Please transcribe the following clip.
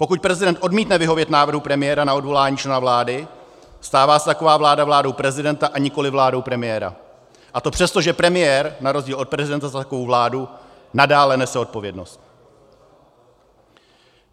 Pokud prezident odmítne vyhovět návrhu premiéra na odvolání člena vlády, stává se taková vláda vládou prezidenta, a nikoli vládou premiéra, a to přesto, že premiér na rozdíl od prezidenta za takovou vládu nadále nese odpovědnost.